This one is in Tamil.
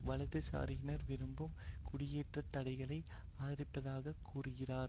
வலதுசாரியினர் விரும்பும் குடியேற்றத்தடைகளை ஆதரிப்பதாக கூறுகிறார்